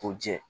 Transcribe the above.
K'o jɛ